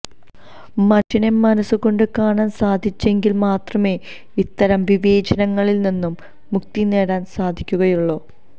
മനുഷ്യരെ മനസ്സുകൊണ്ട് കാണാന് സാധിച്ചെങ്കില് മാത്രമേ ഇത്തരം വിവേചനങ്ങളില് നിന്നും മുക്തി നേടാന് സാധിക്കുകയുള്ളൂ